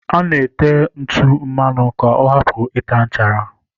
A na-ete ntụ mmanụ ka ọ hapụ ịta nchara.